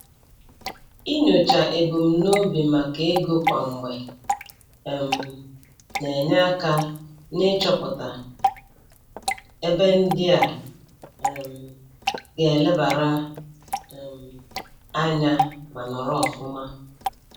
Inyocha ebumnobi maka ego kwa mgbe um na-enye aka n'ịchọpụta ebe ndị a um ga-elebara um anya ma nọrọ ọfụma.